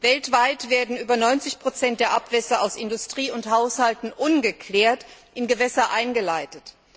Weltweit werden über 90 der Abwässer aus Industrie und Haushalten ungeklärt in Gewässer eingeleitet.